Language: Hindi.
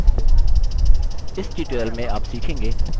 इस ट्यूटोरियल में आप सीखेंगे: